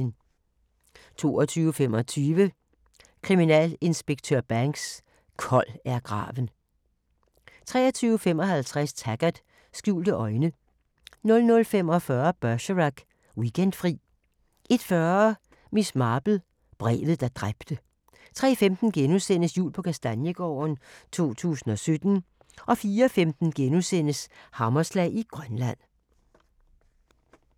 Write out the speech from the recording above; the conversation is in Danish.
22:25: Kriminalinspektør Banks: Kold er graven 23:55: Taggart: Skjulte øjne 00:45: Bergerac: Weekendfri 01:40: Miss Marple: Brevet, der dræbte 03:15: Jul på Kastaniegården - 2017 * 04:15: Hammerslag i Grønland *